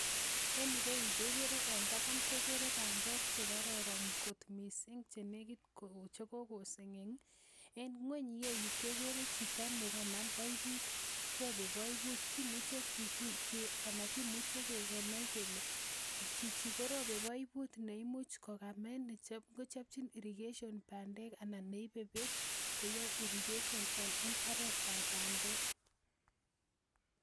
En ireu en taban kekere bandek chekororon kot missing chenekit koseng'eng en ng'weny ireu kekere chito nekanam boibut robe boibut kimuche ki ana kimuche kenai kele chichi korobe boibut neimuch kokamee netam kochopchin irrigation bandek anan neibe beek koyoe irrigation en mbaret ab bandek